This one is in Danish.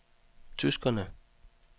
tyskerne